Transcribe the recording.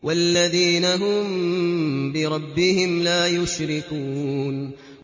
وَالَّذِينَ هُم بِرَبِّهِمْ لَا يُشْرِكُونَ